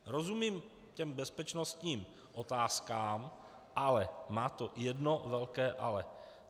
Rozumím těm bezpečnostním otázkám, ale má to jedno velké ale.